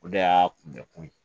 O de y'a kunbɛ kun ye